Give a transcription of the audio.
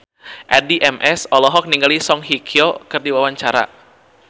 Addie MS olohok ningali Song Hye Kyo keur diwawancara